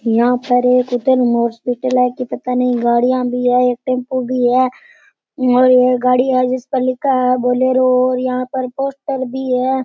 यहाँ पर एक हॉस्पिटल है की पता नहीं गाड़ियां भी है एक टेम्पू भी है और ये गाड़ी है जिस पर लिखा है बोलेरो और यहां पर पोस्टर भी है।